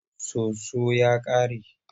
Soso ya ƙare.